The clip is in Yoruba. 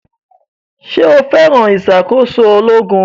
Ṣé o fẹ́ràn ìṣàkóso ológun